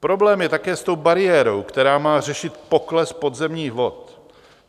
Problém je také s tou bariérou, která má řešit pokles podzemních vod.